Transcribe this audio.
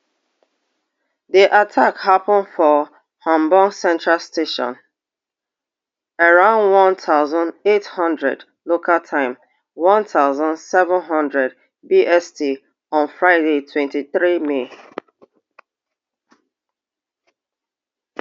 di attack happun for hamburg central station around one thousand, eight hundred local time one thousand, seven hundred bst on friday twenty-three may